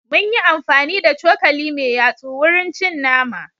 Mun yi amfani da cokali mai yatsu wurin cin nama.